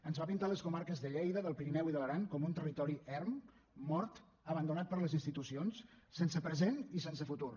ens va pintar les comarques de lleida del pirineu i de l’aran com un territori erm mort abandonat per les institucions sense present i sense futur